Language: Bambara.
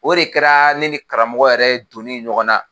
O de kɛra ne ni karamɔgɔ yɛrɛ donnen ye ɲɔgɔn na